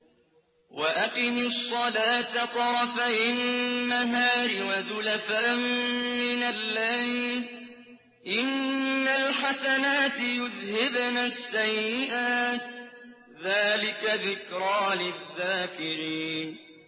وَأَقِمِ الصَّلَاةَ طَرَفَيِ النَّهَارِ وَزُلَفًا مِّنَ اللَّيْلِ ۚ إِنَّ الْحَسَنَاتِ يُذْهِبْنَ السَّيِّئَاتِ ۚ ذَٰلِكَ ذِكْرَىٰ لِلذَّاكِرِينَ